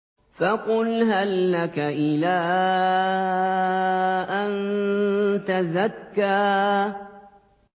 فَقُلْ هَل لَّكَ إِلَىٰ أَن تَزَكَّىٰ